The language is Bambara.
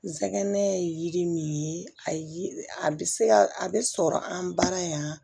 N sɛgɛn ye yiri min ye a yiri a bɛ se a bɛ sɔrɔ an baara yan